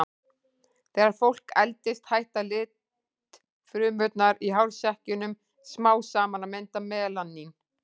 Þegar fólk eldist hætta litfrumurnar í hársekkjunum smám saman að mynda melanín.